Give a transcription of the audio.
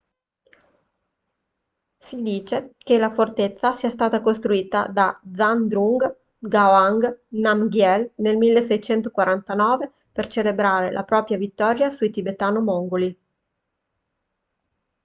si dice che la fortezza sia stata costruita da zhabdrung ngawang namgyel nel 1649 per celebrare la propria vittoria sui tibetano-mongoli